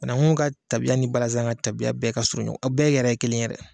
Banakun ka taabiya ni balazan ka taabiya bɛɛ ka surun ɲɔgɔn, a bɛɛ yɛrɛ ye kelen yɛrɛ